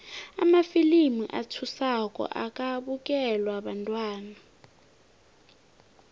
amafilimu athusako akabukelwa bantwana